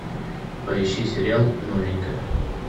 поищи сериал новенькая